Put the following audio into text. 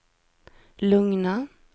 lugna